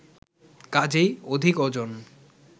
কাজেই অধিক ওজন